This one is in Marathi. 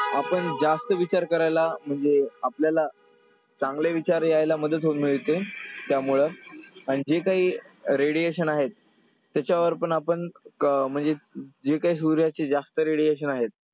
आपण जास्त विचार करायला म्हणजे आपल्याला चांगले विचार यायला मदत होऊन मिळते . त्यामुळं आणि जे काही radiation आहेत तेच्यावर पण आपण म्हणजे जे काय सूर्याचे जास्त radiation आहेत,